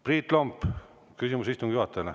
Priit Lomp, küsimus istungi juhatajale.